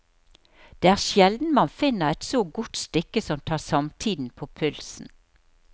Det er sjelden man finner et så godt stykke som tar samtiden på pulsen.